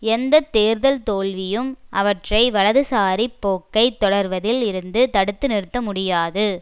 எந்த தேர்தல் தோல்வியும் அவற்றை வலதுசாரி போக்கை தொடர்வதில் இருந்து தடுத்து நிறுத்த முடியாது